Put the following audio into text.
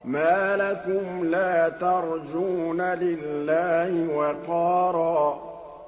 مَّا لَكُمْ لَا تَرْجُونَ لِلَّهِ وَقَارًا